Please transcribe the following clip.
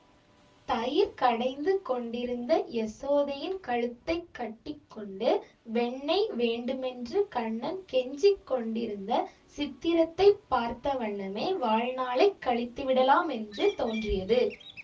தயிர் கடைந்து கொண்டிருந்த யசோதையின் கழுத்தை கட்டி கொண்டு வெண்ணெய் வேண்டுமென்று கண்ணன் கெஞ்சிக் கொண்டிருந்த சித்திரத்தைப் பார்த்த வண்ணமே வாழ்நாளை கழித்துவிடலாமென்று தோன்றியது